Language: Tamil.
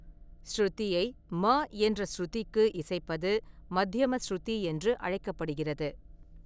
ஷ்ருதியை மா என்ற ஸ்ருதிக்கு இசைப்பது மத்யம ஷ்ருதி என்று அழைக்கப்படுகிறது.